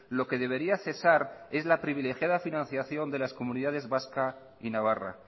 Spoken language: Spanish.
lo que debería cesar es la privilegiada financiación de las comunidades vasca y navarra